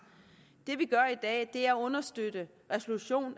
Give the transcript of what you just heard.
at det er at understøtte resolution